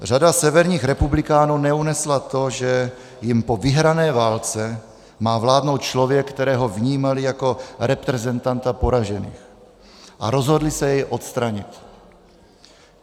Řada severních republikánů neunesla to, že jim po vyhrané válce má vládnout člověk, kterého vnímali jako reprezentanta poražených, a rozhodli se jej odstranit.